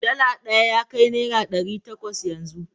Dala ɗaya ya kai naira ɗari takwas yanzu.